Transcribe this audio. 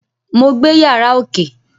Mo gbé yàrá ókè